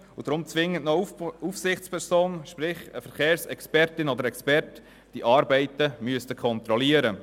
Deshalb müsse zwingend noch eine Aufsichtsperson, sprich, eine Verkehrsexpertin oder ein Verkehrsexperte, die Arbeiten kontrollieren.